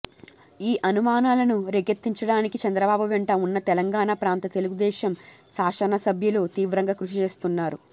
ఈ అనుమానాలను రేకెత్తించడానికి చంద్రబాబు వెంట ఉన్న తెలంగాణ ప్రాంత తెలుగుదేశం శాసనసభ్యులు తీవ్రంగా కృషి చేస్తున్నారు